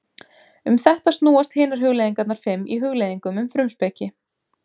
Um þetta snúast hinar hugleiðingarnar fimm í Hugleiðingum um frumspeki.